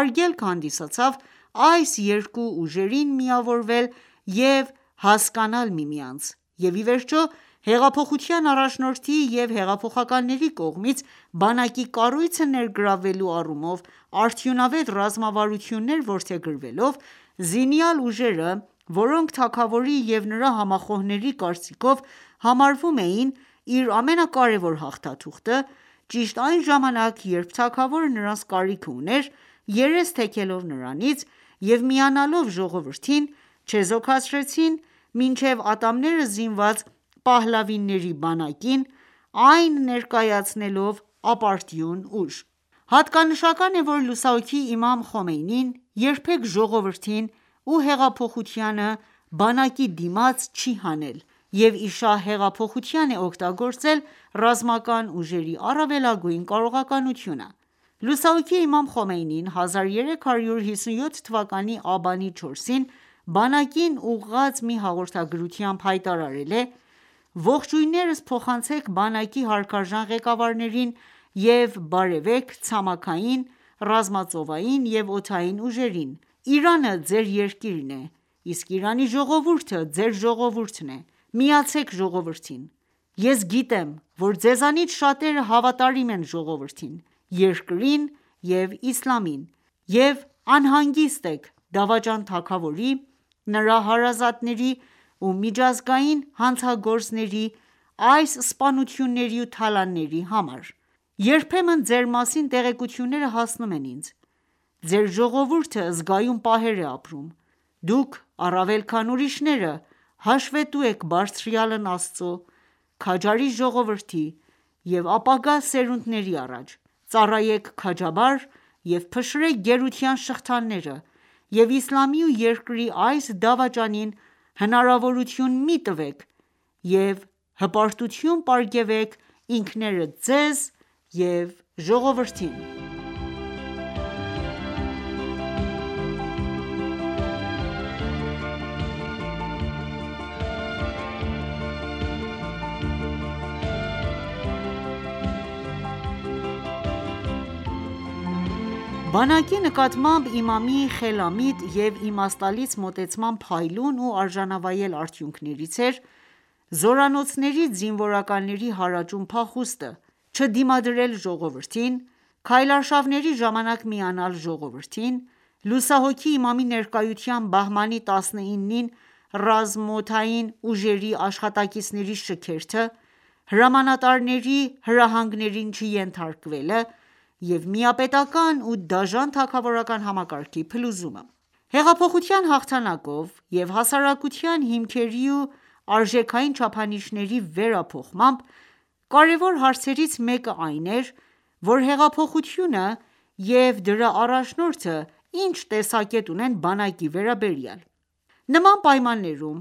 արգելք հանդիսացավ այս երկու ուժերին միավորվել և հասկանալ միմյանց,և իվերջո, հեղափոխության առաջնորդի և հեղափոխականների կողմից բանակի կառույցը ներգրավելու առումով արդյունավետ ռազմավարություններ որդեգրվելով, զինյալ ուժերը, որոնք թագավորի և նրա համախոհների կարծիքով համարում էին իր ամենակարևոր հաղթաթուղթը, ճիշտ այն ժամանակ, երբ թագավորը նրանց կարիքն ուներ, երես թեքելով նրանից և միանալով ժողովրդին, չեզոքացրին մինչև ատամները զինված փահլավիների բանակին, այն ներկայացնելով ապարդյուն ուժ։ Հատկանշական է,որ լուսահոգի Իմամ Խոմեյնին երբեք ժողովրդին ու հեղափոխությանը ,բանակի դիմաց չի հանել և իշահ հեղափոխության է օգտագործել ռազմական ուժերի առավելագույն կարողականությունը:Լուսահոգի Իմամ Խոմեյնին ,1357 թվականի աբանի 4-ին բանակին ուղղած մի հաղորդագրությամբ հայտարարել է .« Ողջույններս փոխանցեք բանակի հարգարժան ղեկավարներին և բարևեք ցամաքային, ռազմածովային և օդային ուժերին, Իրանը ձեր երկիրն է, իսկ Իրանի ժողովուրդը ձեր ժողովուրդն է, միացե՛ք ժողովրդին։ Ես գիտեմ, որ ձեզանից շատերը հավատարիմ են ժողովրդին, երկրին և իսլամին և անհանգիստ եք դավաճան թագավորի, նրա հարազատների ու միջազգային հանցագործների այս սպանությունների ու թալանի համար, երբեմն ձեր մասին տեղեկությունները հասնում են ինձ, ձեր ժողովուրդը զգայուն պահեր է ապրում:Դուք առավել քան ուրիշները հաշվետու եք բարձրյալն Աստծու, քաջարի ժողովրդի ու ապագա սերունդների առաջ։ Ծառայե՛ք քաջաբար և փշրեք գերության շղթաները և իսլամի ու երկրի այս դավաճանին հնարավորություն մի տվեք և հպարտություն պարգևեք ինքներդ ձեզ և ժողովրդին»: Բանակի նկատմամբ Իմամի խելամիտ և իմաստալից մոտեցման փայլուն ու արժանավայել արդյունքներից էր՝ զորանոցներից զինվորականների հարաճուն փախուստը ,չդիմադրել ժողովրդին, քայլարշավների ժամանակ միանալ ժողովրդին, լուսահոգի Իմամի ներկայությամբ բահմանի 19-ին ռազմաօդային ուժերի աշխատակիցների շքերթը ,հրամանատարների հրահանգներին չենթարկվելը և միապետական ու դաժան թագավորական համակարգի փլուզումը: Հեղափոխության հաղթանակով և հասարակության հիմքերի ու արժեքային չափանիշների վերափոխմամբ, կարևոր հարցերից մեկը այն էր, որ հեղափոխությունը և դրա առաջնորդը ի՞նչ տեսակետ ունեն բանակի վերաբերյալ: Նման պայմաններում